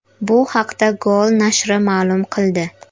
Bu haqda Goal nashri ma’lum qildi .